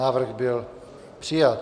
Návrh byl přijat.